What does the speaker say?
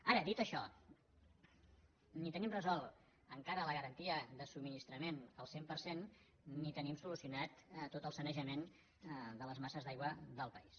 ara dit això ni tenim resolta encara la garantia de subministrament al cent per cent ni tenim solucionat tot el sanejament de les masses d’aigua del país